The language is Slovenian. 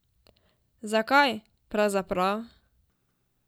Zakaj, pravzaprav?